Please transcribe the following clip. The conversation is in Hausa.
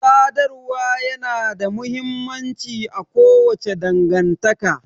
Sadarwa ya na da mahimmanci a kowace dangantaka